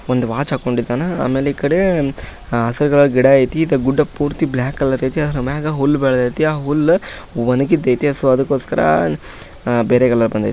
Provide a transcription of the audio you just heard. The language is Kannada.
ಒಂದು ವಾಚ್ ಹಾಕೊಂಡಿದ್ದಾನಾ ಆಮೇಲೆ ಈ ಕಡೆ ಹಸಿರು ಕಲರ್ ಗಿಡ ಐತಿ ಇತ್ತ ಗುಡ್ಡ ಪೂರ್ತಿ ಬ್ಲಾಕ್ ಕಲರ್ ಐತಿ ಆದ್ರೂ ಮೇಲೆ ಹುಲ್ಲು ಬೆಳ್ದೈತಿ ಹುಲ್ಲು ಒಣಗಿದೈತೆ ಸೊ ಅದಕ್ಕೋಸ್ಕರ ಬೇರೆ ಕಲರ್ ಬಂದೈತೆ.